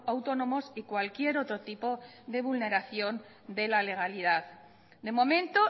autónomos y cualquier otro tipo de vulneración de la legalidad de momento